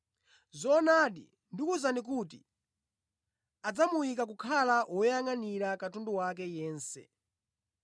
Zoonadi, ndikuwuzani kuti adzamuyika kukhala woyangʼanira katundu wake yense.